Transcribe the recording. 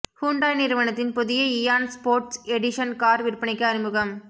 Hyundai நிறுவனத்தின் புதிய Eon sports edition car விற்பனைக்கு அறிமுகம்